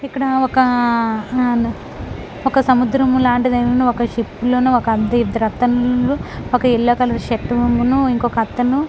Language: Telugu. ఇక్కడ ఒక ఒక సముద్రం లాంటిదైనను ఒక షిప్ లోను ఒక ఎల్లో కలర్ షర్ట్ ను ఇంకొకతను--